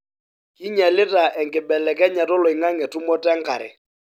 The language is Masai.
kinyialita enkibelekenyata oloinagnge tumoto enkare